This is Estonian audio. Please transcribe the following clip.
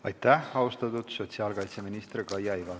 Aitäh, austatud sotsiaalkaitseminister Kaia Iva!